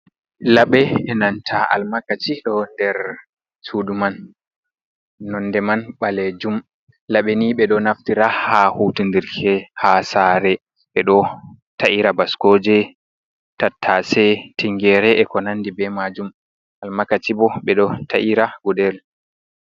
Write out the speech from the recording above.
Labe e nanta almakaci, ɗo nder suduman. Laɓi ni ɓeɗo naftira be man ha hutinki ha sare, ɓeɗo ta’ira baskoje, tattasai, tigere, eko nandi e majum. Almakaci bo ɓeɗo ta’ira gudel